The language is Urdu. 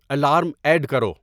الارم ایڈ کرو